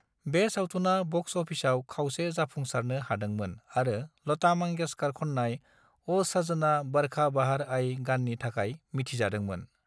बे सावथुना ब'क्स अफिसआव खावसे-जाफुंसारनो हादोंमोन आरो लता मांगेशकर खननाय "ओ सजना बरखा बहार आई" गाननि थाखाय मिथिजादोंमोन।